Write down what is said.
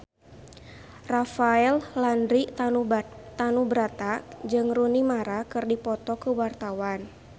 Rafael Landry Tanubrata jeung Rooney Mara keur dipoto ku wartawan